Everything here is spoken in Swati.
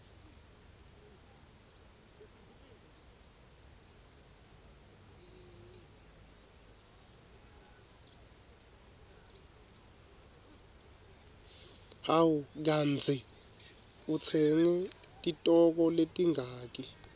hawu kandzi utsenge titoko letingaki